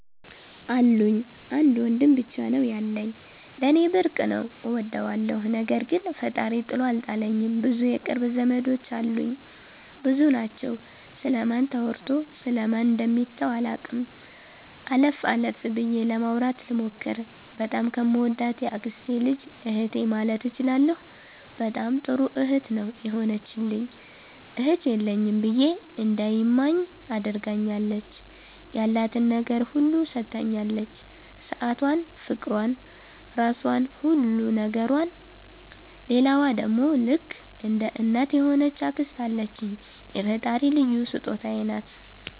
አሉኝ። አንድ ወንድም ብቻ ነው ያለኝ። ለኔ ብርቅ ነው እወደዋለሁ። ነገር ግን ፈጣሪ ጥሎ አልጣለኝም ብዙ የቅርብ ዘመዶች አሉኝ። ብዙ ናቸው ስለ ማን ተወርቶ ስለ ማን ደሚተው አላቅም። አለፍ አለፍ ብዬ ለማውራት ልሞክር። በጣም ከምወዳት የአክስቴ ልጅ እህቴ ማለት እችላለሁ በጣም ጥሩ እህት ነው የሆነችልኝ እህት የለኝም ብዬ እንዳይማኝ አድርጋኛለች። ያላትን ነገር ሁሉ ሠታኛለች ሠአቷን ፍቅሯን ራሧን ሁሉ ነገሯን። ሌላዋ ደሞ ልክ እንደ እናት የሆነች አክስት አለችኝ የፈጣሪ ልዩ ሥጦታዬ ናት።